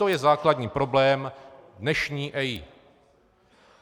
To je základní problém dnešní EIA.